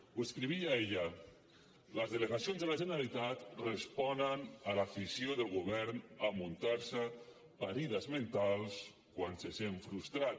ho escrivia ella les delegacions de la generalitat responen a l’afició del govern a muntar se parides mentals quan se sent frustrat